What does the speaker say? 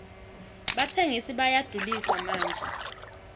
batsengisi bayadulisa manje